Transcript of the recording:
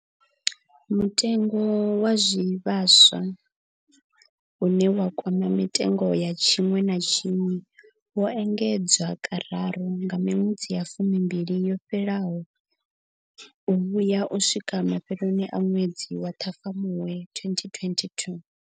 Mutengo wa zwivhaswa, une wa kwama mitengo ya tshiṅwe na tshiṅwe, wo engedzwa kararu kha miṅwedzi ya fumimbili yo fhelaho u vhuya u swikela mafheloni a ṅwedzi wa Ṱhafamuhwe 2022.